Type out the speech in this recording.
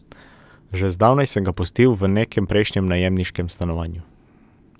Že zdavnaj sem ga pustil v nekem prejšnjem najemniškem stanovanju.